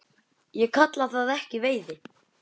Ég kalla það ekki veiði.